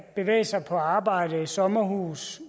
bevæge sig på arbejde i sommerhus